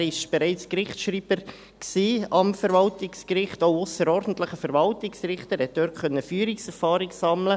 Er war am Verwaltungsgericht bereits Gerichtsschreiber, auch ausserordentlicher Verwaltungsrichter, und konnte dort Führungserfahrung sammeln.